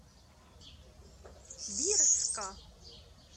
бирска